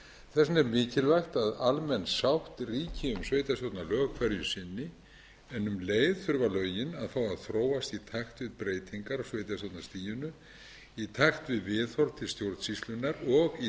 vegna er mikilvægt að almenn sátt ríki um sveitarstjórnarlög hverju sinni en um leið þurfa lögin að fá að þróast í takt við breytingar á sveitarstjórnarstiginu í takt við viðhorf til stjórnsýslunnar og í